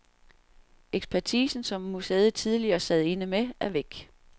Ekspertise, som museet tidligere sad inde med, er væk.